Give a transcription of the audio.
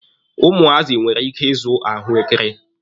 Ụmụazị nwere ike ịzụ ahụekere.